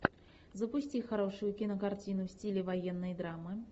запусти хорошую кинокартину в стиле военной драмы